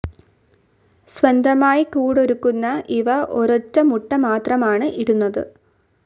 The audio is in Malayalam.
സ്വന്തമായി കൂടൊരുക്കുന്ന ഇവ ഒരൊറ്റ മുട്ട മാത്രമാണ് ഇടുന്നത്.